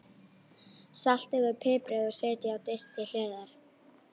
Saltið og piprið og setjið á disk til hliðar.